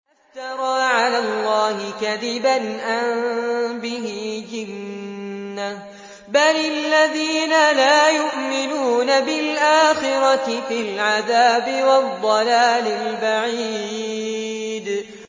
أَفْتَرَىٰ عَلَى اللَّهِ كَذِبًا أَم بِهِ جِنَّةٌ ۗ بَلِ الَّذِينَ لَا يُؤْمِنُونَ بِالْآخِرَةِ فِي الْعَذَابِ وَالضَّلَالِ الْبَعِيدِ